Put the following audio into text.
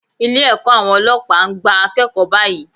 Ilé ẹ̀kọ́ àwọn Ọlọ́pàá ń gba akẹ́kọ̀ọ́ báyìí.